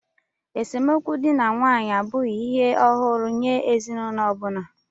Esemokwu dị na nwaanyị abụghị ihe ọhụrụ nye ezinụlọ ọ bụla